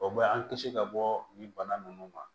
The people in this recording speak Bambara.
O bɛ an kisi ka bɔ nin bana ninnu ma